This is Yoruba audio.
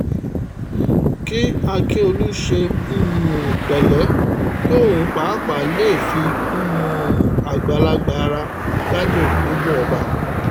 kí ákíọ̀lù ṣe um pẹ̀lẹ́ kí òun pàápàá lè fi um àgbàlagbà ara gbádùn nípò ọba